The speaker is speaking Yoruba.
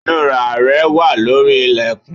Inura rẹ wà lórí ilẹkun